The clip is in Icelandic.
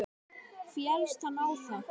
Féllst hann á það.